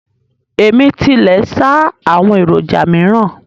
Ẹ̀mí tilẹ̀ ṣáá àwọn èròjà míràn